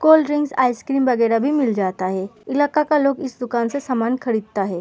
Cold drinks ice cream वगेरा भी मिल जाता है। इलाका का लोग इस दुकान से सामान भी खरीदता है।